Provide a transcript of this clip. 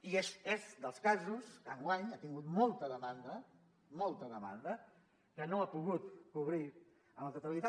i és dels casos que enguany ha tingut molta demanda molta demanda que no ha pogut cobrir en la totalitat